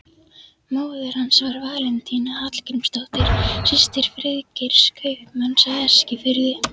Móðir hans var Valentína Hallgrímsdóttir, systir Friðgeirs, kaupmanns á Eskifirði.